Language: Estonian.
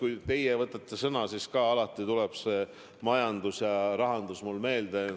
Kui teie võtate sõna, siis alati tuleb jutuks majandus või rahandus.